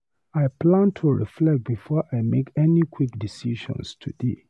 I plan to reflect before I make any quick decisions today.